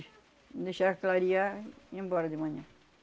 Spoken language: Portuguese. Deixava clarear e ia embora de manhã.